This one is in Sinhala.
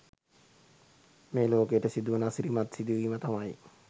මේ ලෝකයට සිදුවන අසිරිමත් සිදුවීම තමයි